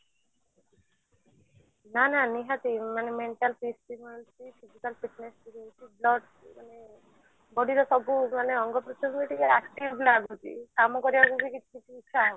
ନା ନା ନିହାତି ମାନେ mental peace ବି ମିଳୁଛି physical fitness ବି ମିଳୁଛି plus ମାନେ body ର ସବୁ ମାନେ ଅଙ୍ଗ ପ୍ରତ୍ୟଙ୍ଗ ଟିକେ active ଲାଗୁଛି କାମ କରିବାକୁ ବି ଇଛା